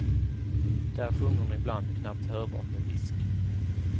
Där sjunger hon ibland knappt hörbart med visk.